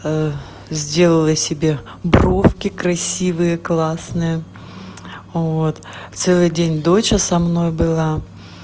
сделала себе бровки красивые классные вот целый день доча со мной была